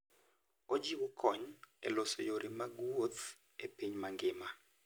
Ochiwo kony e loso yore mag wuoth e piny mangima.